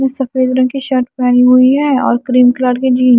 सफेद रंग की शर्ट पहनी हुई है और क्रीम कलर की जीन ।